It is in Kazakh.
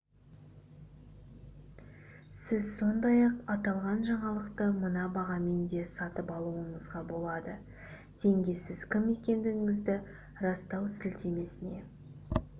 сіз сондай-ақ аталған жаңалықты мына бағамен де сатып алуыңызға болады теңге сіз кім екендігіңізді растау сілтемесіне